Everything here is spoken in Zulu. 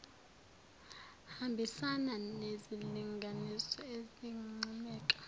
hambisana nezilinganiso ezinqumeka